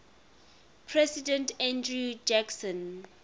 president andrew jackson